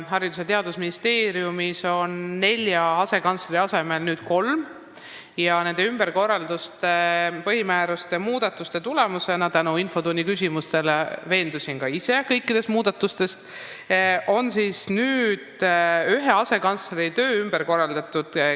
Haridus- ja Teadusministeeriumis on nelja asekantsleri asemel nüüd kolm asekantslerit ning nende ümberkorralduste ja põhimääruste muudatuste tulemusena – tänu infotunnis esitatud küsimustele veendusin ka ise kõikides muudatustes – on nüüd ühe asekantsleri töö ümber korraldatud.